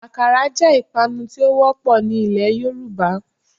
Àkàrà jẹ́ ìpanu tí ó wọ́pọ̀ ní ilẹ̀ Yorùbá